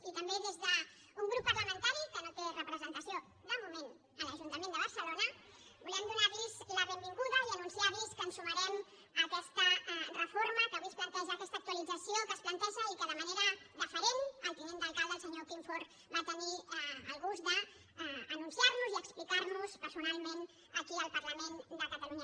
i també des d’un grup parlamentari que no té representació de moment a l’ajuntament de barcelona volem donar los la benvinguda i anunciar los que ens sumarem a aquesta reforma que avui es planteja aquesta actualització que es planteja i que de manera deferent el tinent d’alcalde el senyor quim forn va tenir el gust d’anunciar nos i explicar nos personalment aquí al parlament de catalunya